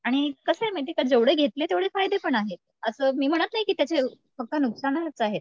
आणि कसं आहे माहितीये का जेवढं घेतले तेवढे फायदे पण आहेत. असं मी म्हणत नाही की त्याचे फक्त नुकसानच आहेत.